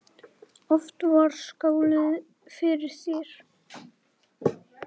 Oft var skálað fyrir þér.